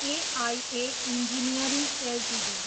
AIA engineering Ltd